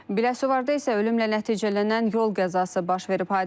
Biləsuvarda isə ölümlə nəticələnən yol qəzası baş verib.